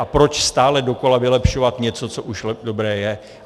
A proč stále dokola vylepšovat něco, co už dobré je?